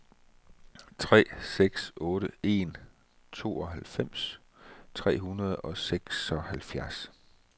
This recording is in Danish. tre seks otte en tooghalvfems tre hundrede og seksoghalvfjerds